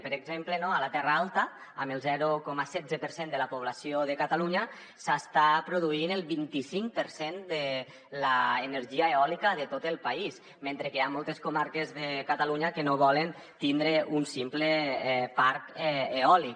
per exemple a la terra alta amb el zero coma setze per cent de la població de catalunya s’hi està produint el vint i cinc per cent de l’energia eòlica de tot el país mentre que hi ha moltes comarques de catalunya que no volen tindre un simple parc eòlic